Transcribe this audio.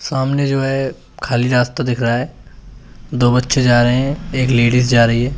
सामने जो है खाली रास्ता दिख रहा है दो बच्चे जा रहे हैं एक लेडिस जा रही है।